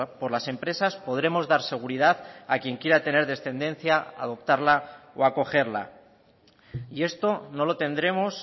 por las empresas podremos dar seguridad a quien quiera tener descendencia adoptarla o acogerla y esto no lo tendremos